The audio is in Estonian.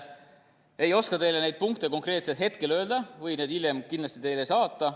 Ei oska teile neid punkte hetkel konkreetselt öelda, võin need hiljem teile saata.